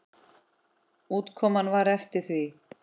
Útkoman var eftir því.